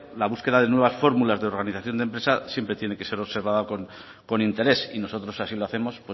la búsqueda de nuevas fórmulas de organización de empresas siempre tiene que ser observada con interés y nosotros así lo hacemos